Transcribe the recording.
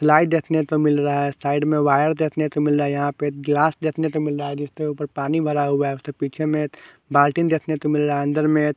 light देखने को मिल रहा है साइड में वायर देखने को मिल रहा यहां पे गिलास देखने को मिल रहा है जिसके ऊपर पानी भरा हुआ है उसके पीछे में एक बाल्टीन देखने को मिला रहा अंदर में--